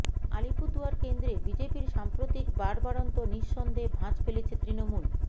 আলিপুরদুয়ার কেন্দ্রে বিজেপির সাম্প্রতিক বাড়বাড়ন্ত নিঃসন্দেহে ভাঁজ ফেলেছে তৃণমূল